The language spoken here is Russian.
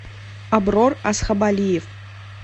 аброр асхабалиев